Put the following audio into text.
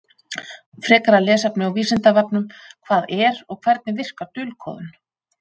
Frekara lesefni á Vísindavefnum: Hvað er og hvernig verkar dulkóðun?